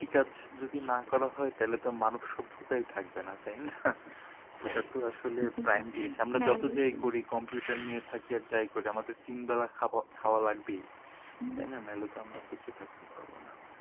কৃষিকাজ যদি না করা হয় তাইলে তো মানুষসভ্যতাই থাকবে না তাই না? ওইটা তো আসলে prime জিনিস আমরা যত যেই করি computer নিয়ে থাকি আর যাই করি আমাদের তিন বেলা খাওয়া লাগবেই তাই না নাইলে তো আমরা বেঁচে থাকতে পারবো না